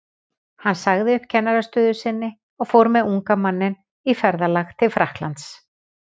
Hann sagði upp kennarastöðu sinni og fór með unga manninn í ferðalag til Frakklands.